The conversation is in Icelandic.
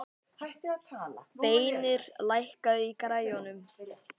Beinir, lækkaðu í græjunum.